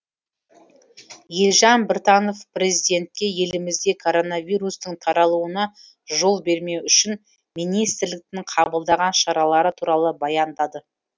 елжан біртанов президентке елімізде коронавирустың таралуына жол бермеу үшін министрліктің қабылдаған шаралары туралы баяндады